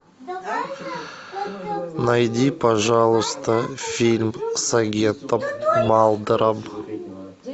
найди пожалуйста фильм с агентом малдером